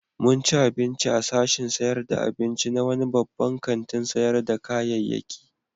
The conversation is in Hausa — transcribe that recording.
Mun ci abinci a sashin sayar da abinci na wani babban kantin sayar da kayayyaki.